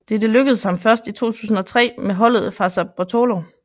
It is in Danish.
Dette lykkedes ham først i 2003 med holdet Fassa Bortolo